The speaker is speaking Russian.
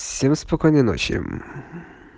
всем спокойной ночи